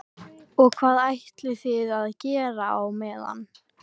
Og hvað ætla þeir að gera á meðan?